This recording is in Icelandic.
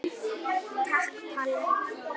Takk Palli.